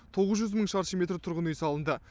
тоғыз жүз мың шаршы метр тұрғын үй салынды